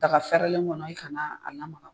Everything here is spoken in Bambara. Daga fɛrɛlen kɔnɔ i kana a lamaga